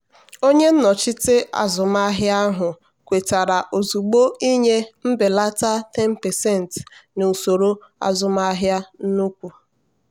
onye nnochite azụmahịa ahụ kwetara ozugbo ịnye mbelata 10% na usoro azụmaahịa nnukwu.